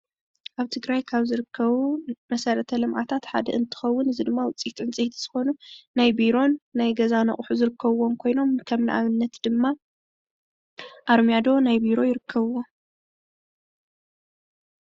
ኣብ ትግራይ ካብ ዝርከቡ መሰረተ ልምዓታት ሓደ እንትከውን እዚ ድማ ውፅኢት ዕንፀይቲ ዝኮነ ናይ ቢሮን ናይ ገዛን ኣቁሑ ዝርከብዎም ኮይኖም ከም ንኣብነት ድማ ኣርማድዮ ናይ ቢሮ ይርከብዎም፡፡